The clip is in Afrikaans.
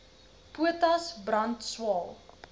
potas brand swael